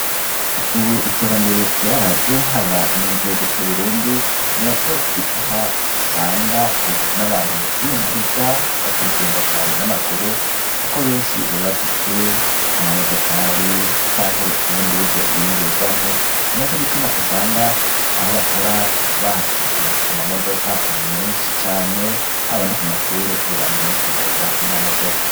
Ubu iterambere ryaraje haba no mu gihugu c'uburundi ni na co gituma usanga, ubu n'abantu mu kwiyunguruza batagigenda cane n'amaguru, kuko benshi babafise amamodokali canke ubundi buryo biyunguruzamwo ni na co gituma usanga aho bakora bahashize amamodoka menshi cane haba no ku mashure bo bantu benshi bagenda n'amamodoka.